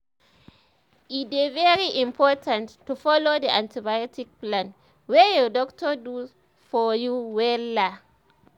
no dey take antibiotic if your doctor no sabi um about am e no dey safe at um all